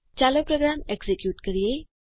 ચાલો program execute કરીએ